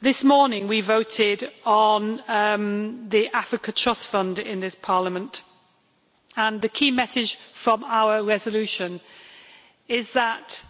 This morning we voted on the Africa Trust Fund in this Parliament, and the key message from our resolution is that